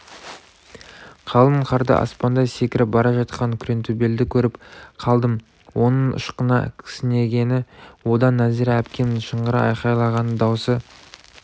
қалың қарда аспандай секіріп бара жатқан күреңтөбелді көріп қалдым оның ышқына кісінегені одан нәзира әпкемнің шыңғыра айқайлаған даусы